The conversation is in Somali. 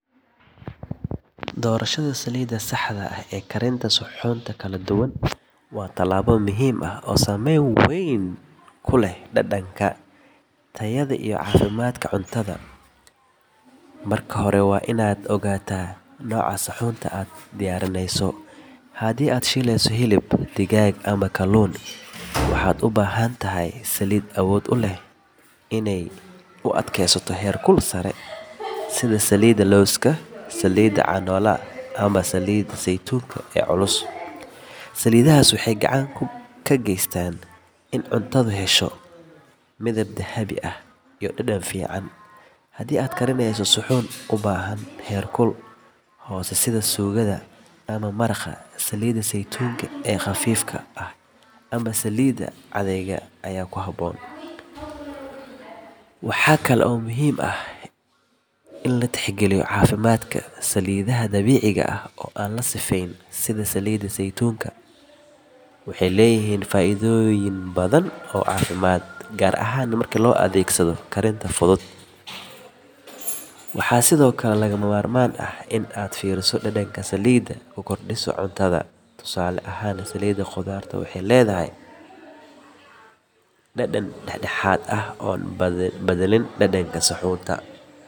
Dorashada saliida saxda waa tilaabo muhiim ah, tayada iyo cafimaadka cunada, hadii aad shileyso digaag ama hilib waxaad ubahan tahay saliid awood uleh inaay u adkeesato heer kul sare, waxeey gacan ka geestaan inaay yelato dadan fican, waxaa kale oo muhiim u ah in latix galiyo cafimaadk saliida dabiiciga, waxaa sido kale lagama maarmaan ah inaad fiiriso dadanka saliid ku kordiso cunada.